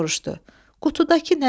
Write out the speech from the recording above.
Qutudakı nədir?